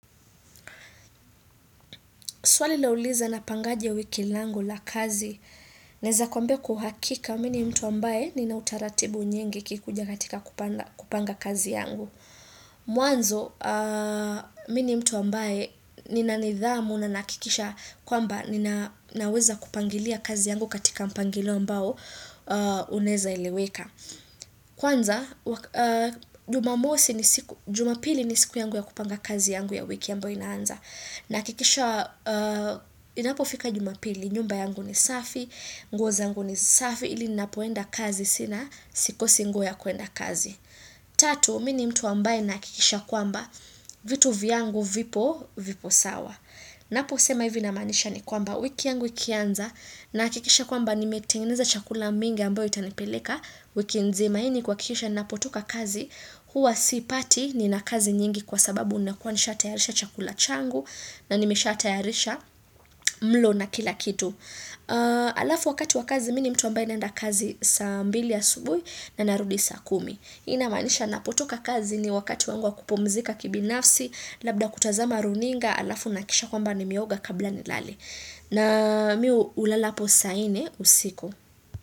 Swali la uliza napangaje ya wiki langu la kazi, naeza kwambia kwa uhakika, mi ni mtu ambaye nina utaratibu nyingi ikikuja katika kupanga kazi yangu. Mwanzo, mi ni mtu ambaye nina nidhamu na naakikisha kwamba ninaweza kupangilia kazi yangu katika mpangilo ambao uneza iliweka. Kwanza, jumamosi ni siku, jumapili ni siku yangu ya kupanga kazi yangu ya wiki ambao inaanza. Naakikisha, inapo fika jumapili, nyumba yangu ni safi, nguo zangu ni safi, ili napoenda kazi sina, sikosi nguo ya kuenda kazi. Tatu, mini mtu ambaye naakikisha kwamba, vitu viangu, vipo, vipo sawa. Naposema hivi namaanisha ni kwamba, wiki yangu ikianza, naakikisha kwamba nimetengeneza chakula mingi ambayo itanipeleka, wiki nzima ini kuwakisha napotoka kazi huwa sipati nina kazi nyingi kwa sababu nakuanisha tayarisha chakula changu na nimesha tayarisha mlo na kila kitu alafu wakati wa kazi mi ni mtu ambaye naenda kazi saa mbili ya subui na narudi sa kumi inamanisha napotoka kazi ni wakati wangu wa kupumzika kibinafsi labda kutazama runinga alafu naakisha kwamba nimeoga kabla nilale na mi ulalapo saini usiku.